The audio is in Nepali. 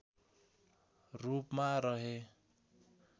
रूपमा रहे